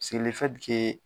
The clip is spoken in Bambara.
Se